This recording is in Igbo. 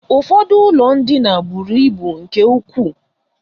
Ụfọdụ ụlọ ndina buru ibu nke ukwuu.